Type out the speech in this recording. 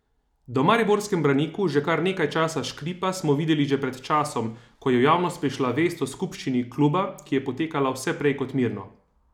Da v mariborskem Braniku že kar nekaj časa škripa, smo videli že pred časom, ko je v javnost prišla vest o skupščini kluba, ki je potekala vse prej kot mirno.